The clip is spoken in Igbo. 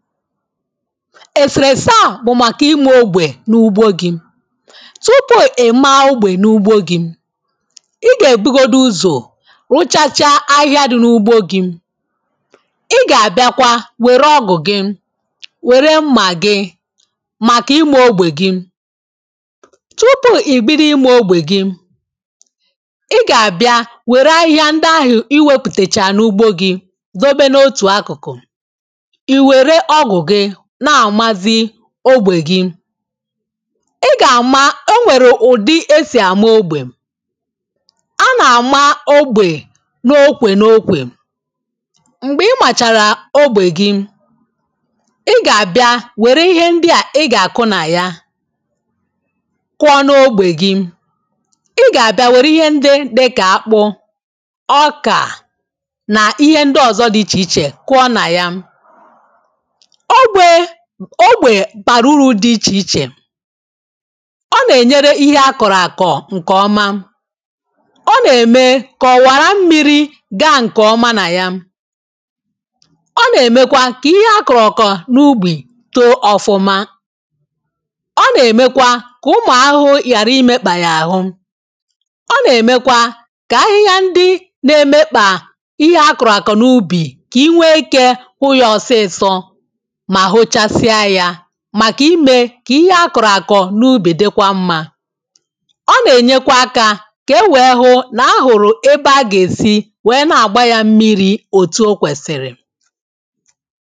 èsèrèsè a bụ̀ màkà ịmȧ ogbè n’ugbo gị tupu̇ ị̀maa ogbè n’ugbo gị̇, ị gà-èbugodu uzò rụchachaa ahịhịa dị n’ugbȯ gị̇ ị gà-àbịakwa wère ọgụ̀ gị, wère mmà gị màkà ịmȧ ogbè gị tupu̇ ì bido ịmȧ ogbè gị ị gà-àbịa wère ahịhịa ndị ahụ̀ i wepùtèchà n’ugbo gị̇ dòbe n’otù akụ̀kụ̀ I were ọgu gị na amazi ogbè gị ị gà-àma o nwèrè ụ̀dị esì àma ogbè a nà-àma ogbè n’okwè n’okwè m̀gbè ị màchàrà ogbè gị ị gà-àbịa wère ihe ndị à ị gà-àkụ nà ya kụọ n’ogbè gị ị gà-àbịa wère ihe ndị dịkà akpụ ọkà nà ihe ndị ọ̀zọ dị ichè ichè kụọ nà ya ogbė ogbè bàrà uru̇ dị ichè ichè ọ nà-ènyere ihe akọ̀rọ̀ àkọ̀ ǹkọ̀ọma ọ nà-ème kà ọ̀wàrà mmiri̇ gaa ǹkọ̀ọma nà ya ọ nà-èmekwa ka ihe akọ̀rọ̀ akọ̀ n’ubì tó ọ̀fụma ọ nà-èmekwa ka ụmụ̀ ahụhụ yàra imėkpà yà ahụ ọ nà-èmekwa ka ahịhịa ndi na-èmekpà ihe akọ̀rọ̀ àkọ̀ n’ubì ks nwee ikė hụ ya ọsịịsọ ma huchasia ya màkà imė kà ihe akọ̀rọ̀ àkọ̀ n’ubì dịkwa mmȧ ọ nà-ènyekwa akȧ kà e wèe hụ nà ahụ̀rụ̀ ebe a gà-èsi wèe na-àgba yȧ mmịrị̇ òtù okwèsìrì